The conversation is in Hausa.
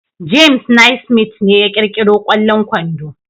James Naismith ne ya kirkiri kwallon kwando